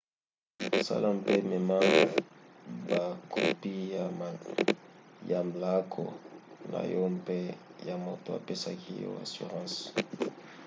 sala mpe mema bakopi ya mlaako na yo mpe ya moto apesaki yo assurance